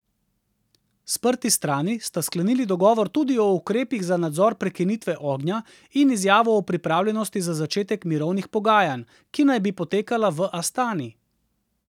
Sprti strani sta sklenili tudi dogovor o ukrepih za nadzor prekinitve ognja in izjavo o pripravljenosti za začetek mirovnih pogajanj, ki naj bi potekala V Astani.